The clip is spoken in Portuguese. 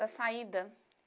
Da saída.